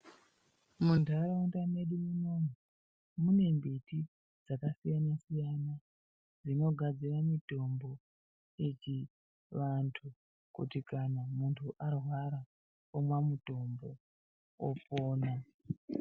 Muntaraunda mwedu munomu, mune mbiti dzakasiyana-siyana dzinogadzira mitombo yechivantu, kuti kana muntu arwara omwa mutombo, opona,